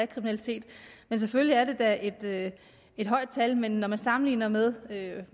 kriminalitet selvfølgelig er det da et højt tal men når man sammenligner med